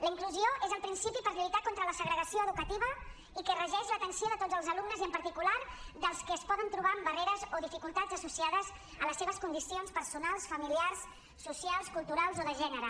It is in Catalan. la inclusió és el principi per lluitar contra la segregació educativa i que regeix l’atenció de tots els alumnes i en particular dels que es poden trobar amb barreres o dificultats associades a les seves condicions per·sonals familiars socials culturals o de gènere